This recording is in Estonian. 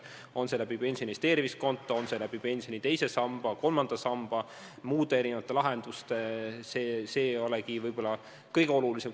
Kas selleks annab võimaluse pensioni investeerimiskonto, pensioni teine sammas, kolmas sammas või mõni muu lahendus, see ei olegi võib-olla kõige olulisem.